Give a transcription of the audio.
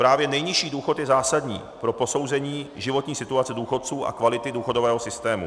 Právě nejnižší důchod je zásadní pro posouzení životní situace důchodců a kvality důchodového systému.